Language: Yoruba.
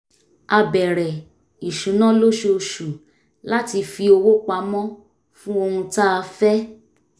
a bẹ̀rẹ̀ ìṣúná lóṣooṣù láti fi owó pamọ́ fún ohun tá a fẹ́